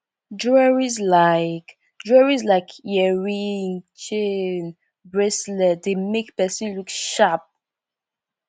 jewelries like jewelries like earring chain bracelets dey make person look sharp